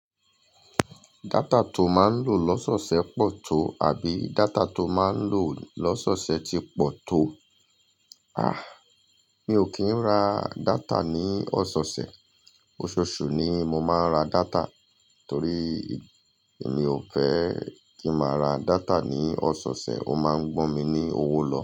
Data to ma n lo lọ́sọ̀ọ̀sẹ̀ pọ̀ to àbí data to ma n lo lọ́sọ̀ọ̀sẹ̀ ti pọ̀ tó? A! Mi ò kì n ra data ní ọ̀sọ̀ọ̀sẹ̀, ososù ni mo máa ń ra data torí mi ò fẹ́ kí máa ra data ní ọ̀sọ̀ọ̀sẹ̀. Ó máa ń gbọn mi ní owó lọ.